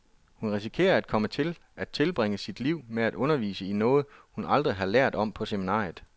Hun risikerer at komme til at tilbringe sit liv med at undervise i noget, hun aldrig har lært om på seminariet.